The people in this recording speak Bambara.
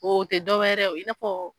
O tɛ dɔw wɛrɛ ye i na fɔ.